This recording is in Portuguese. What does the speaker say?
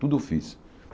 Tudo eu fiz.